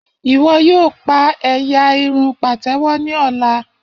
Iwọ yoo pa ẹ́yá irun patewo ni ọla.